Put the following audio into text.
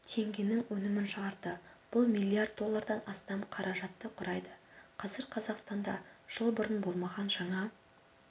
теңгенің өнімін шығарды бұл миллиард доллардан астам қаражатты құрайды қазір қазақстанда жыл бұрын болмаған жаңа